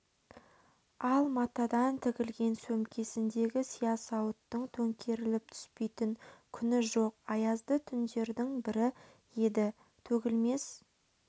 ал матадан тігілген сөмкесіндегі сиясауыттың төңкеріліп түспейтін күні жоқ аязды күндердің бірі еді төгілмес